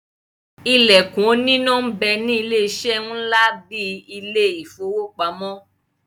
Ìlẹ̀kùn oníná ń bẹ ní ilé-eṣẹ́ ńlá bíi ilé ìfowópamọ́.